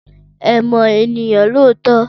Ẹ mọ ènìyàn lóòótọ́.